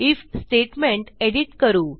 if statement edit करू